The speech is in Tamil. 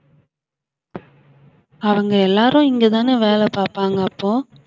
அவங்க எல்லாரும் இங்கதானே வேலை பார்ப்பாங்க அப்போ